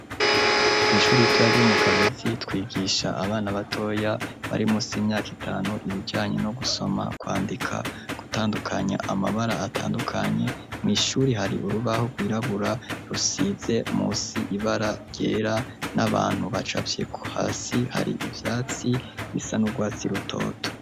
Kw' ishuri ritoya ryo mu Kabezi, twigisha abana batoya bari munsi y' imyaka itanu, ibijanye no gusoma, kwandika, gutandukanya amabara atandukanye; mw'ishuri hari urubaho rwirabura rusize munsi ibara ryera, n'abantu bacafyeko; hasi hari ivyatsi bisa n'urwatsi rutoto.